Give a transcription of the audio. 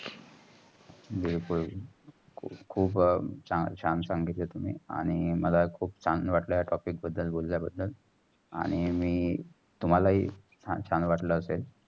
बिलकुल. खूप छान सांगीतले तुमी आणि मला खूप चांगलं वाटलं या topic बददल बोलल्या बदल. आणि मी तुमाला ही छान वाटलं असेल.